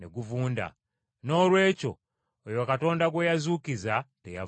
Noolwekyo, oyo Katonda gwe yazuukiza teyavunda.